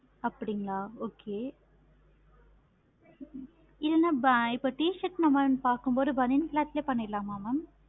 அப்படிங்களா okay இல்லைனா இப்ப t-shirt பார்க்கு போது பனியன் cloth ல பண்ணிரலாம mam